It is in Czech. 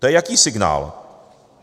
To je jaký signál?